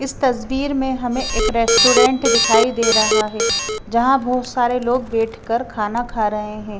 इस तस्वीर में हमें एक रेस्टोरेंट दिखाई दे रहा है जहाँ बहोत सारे लोग बैठकर खाना खा रहे हैं।